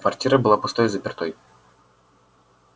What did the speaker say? квартира была пустой и запертой